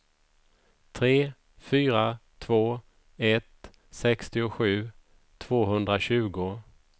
tre fyra två ett sextiosju tvåhundratjugo